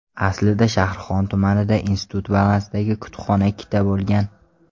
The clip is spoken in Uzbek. Aslida Shahrixon tumanida institut balansidagi kutubxona ikkita bo‘lgan.